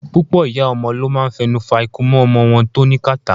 Púpọ̀ ìyá ọmọ ló máa ń fẹnu fa ikunmú ọmọ wọn tó ní kàtá.